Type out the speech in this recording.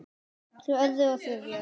Svo öðru og þriðja.